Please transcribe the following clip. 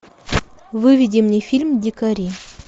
выведи мне фильм дикари